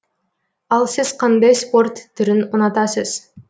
ал сіз қандай спорт түрін ұнатасыз